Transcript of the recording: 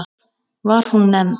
Var hún nefnd